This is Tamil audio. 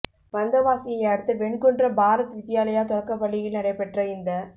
வந்தவாசியை அடுத்த வெண்குன்றம் பாரத் வித்யாலயா தொடக்கப் பள்ளியில் நடைபெற்ற இந்த